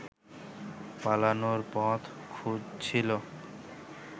পালানোর পথ খুঁজছিল